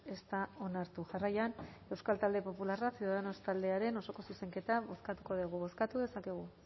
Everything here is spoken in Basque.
ez da onartu jarraian euskal talde popularra ciudadanos taldearen osoko zuzenketa bozkatuko dugu bozkatu dezakegu